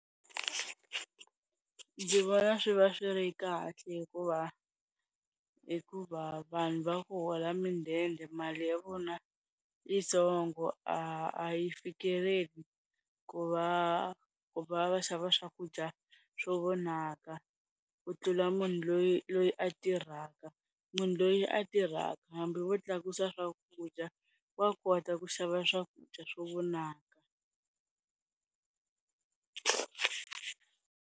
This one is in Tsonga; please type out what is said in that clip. Ndzi vona swi va swi ri kahle hikuva, hikuva vanhu va ku hola midende mali ya vona yitsongo a yi fikeleli ku va va va xava swakudya swo vonaka ku tlula munhu loyi loyi a tirhaka, munhu loyi a tirhaka hambi vo tlakusa swakudya wa kota ku xava swakudya swo vonaka.